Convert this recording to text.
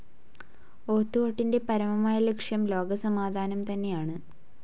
ഓത്ത്കൊട്ടിന്റെ പരമമായ ലക്ഷ്യം ലോകസമാധാനം തന്നെയാണ്‌.